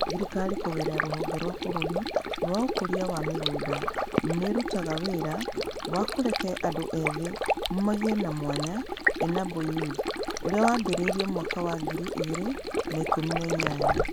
Thirikari kũgerera Rũhonge rwa Bũrũri rwa Ũkũria wa Mĩgũnda nĩ ĩrutaga wĩra wa Kũreke Andũ Ethĩ Magĩe na Mwanya (ENABLE Youth), ũrĩa wambĩrĩirio mwaka wa ngiri igĩrĩ na ikũmi na inyanya.